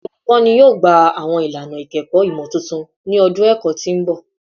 Awọn olukọni yoo gba awọn ilana ikẹkọ imotuntun ni ọdun ẹkọ ti n bọ